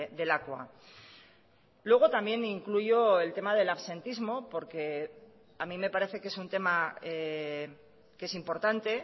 de lakua luego también incluyo el tema del absentismo porque a mí me parece que es un tema que es importante